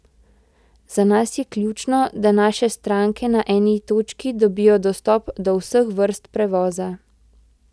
Za nas je ključno, da naše stranke na eni točki dobijo dostop do vseh vrst prevoza.